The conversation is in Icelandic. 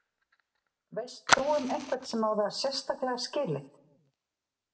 Veist þú um einhvern sem á það sérstaklega skilið?